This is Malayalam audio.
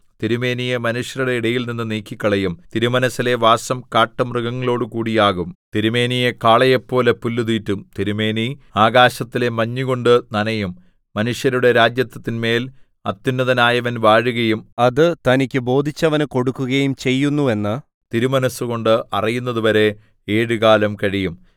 തിരുമേനിയെ മനുഷ്യരുടെ ഇടയിൽനിന്ന് നീക്കിക്കളയും തിരുമനസ്സിലെ വാസം കാട്ടുമൃഗങ്ങളോടുകൂടിയാകും തിരുമേനിയെ കാളയെപ്പോലെ പുല്ല് തീറ്റും തിരുമേനി ആകാശത്തിലെ മഞ്ഞുകൊണ്ട് നനയും മനുഷ്യരുടെ രാജത്വത്തിന്മേൽ അത്യുന്നതനായവൻ വാഴുകയും അത് തനിക്ക് ബോധിച്ചവന് കൊടുക്കുകയും ചെയ്യുന്നുവെന്ന് തിരുമനസ്സുകൊണ്ട് അറിയുന്നതുവരെ ഏഴുകാലം കഴിയും